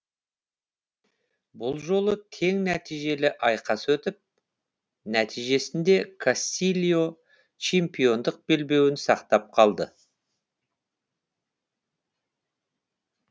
бұл жолы тең нәтижелі айқас өтіп нәтижесінде кастильо чемпиондық белбеуін сақтап қалды